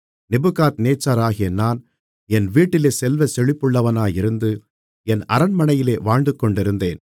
நேபுகாத்நேச்சாராகிய நான் என் வீட்டிலே செல்வச்செழிப்புள்ளவனாயிருந்து என் அரண்மனையிலே வாழ்ந்துகொண்டிருந்தேன்